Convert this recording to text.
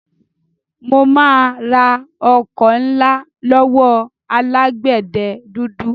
Mo máa ra ọkọ́ ńlá lọ́wọ́ alágbẹ̀dẹ dúdú.